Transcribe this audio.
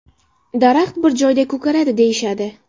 Daraxt bir joyda ko‘karadi deyishadi.